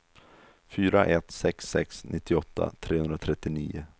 fyra ett sex sex nittioåtta trehundratrettionio